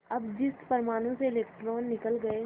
अब जिस परमाणु से इलेक्ट्रॉन निकल गए